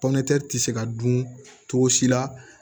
ti se ka dun cogo si la